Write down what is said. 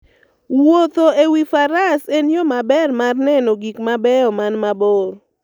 Wuotho e wi faras en yo maber mar neno gik mabeyo man mabor.